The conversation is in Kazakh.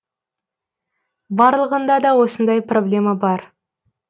барлығында да осындай проблема бар